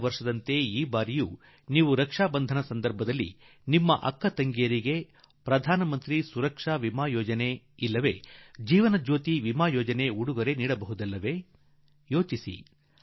ಕಳದ ವರ್ಷದಂತೆ0iÉುೀ ಈ ಸಲವೂ ರಾಖಿ ಬಂಧನ ಸಂದರ್ಭದಲ್ಲಿ ನಮ್ಮ ದೇಶದ ತಾಯಂದಿರು ಸೋದರಿಯರಿಗೆ ಪ್ರಧಾನಮಂತ್ರಿ ಸುರಕ್ಷಾ ವಿಮೆ ಯೋಜನೆ ಅಥವಾ ಜೀವನ ಜ್ಯೋತಿ ವಿಮಾ ಯೋಜನೆ ಉಡುಗೊರೆ ನೀಡುವುದಿಲ್ಲವೇ ಯೋಚಿಸಿ